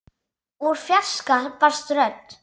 Úr fjarska barst rödd.